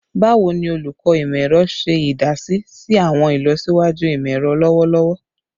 Bawo ni Olukọ Imọ-ẹrọ ṣe idasi si awọn ilọsiwaju imọ-ẹrọ lọwọlọwọ?